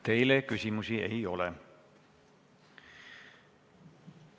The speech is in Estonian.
Teile küsimusi ei ole.